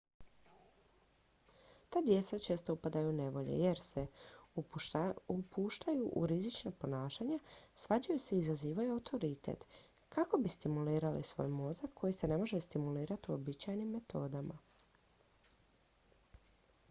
"ta djeca često upadaju u nevolje jer se "upuštaju u rizična ponašanja svađaju se i izazivaju autoritet" kako bi stimulirali svoj mozak koji se ne može stimulirati uobičajenim metodama.